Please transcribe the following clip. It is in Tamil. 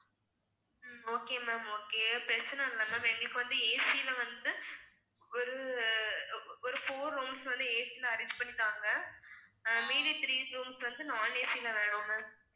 உம் okay ma'am okay பிரச்சனை இல்ல ma'am எங்களுக்கு வந்து AC ல வந்து ஒரு ஒரு four rooms வந்து AC ல arrange பண்ணி தாங்க அஹ் மீதி three rooms வந்து non AC ல வேணும் ma'am